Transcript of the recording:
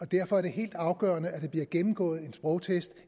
derfor er det helt afgørende at de har gennemgået en sprogtest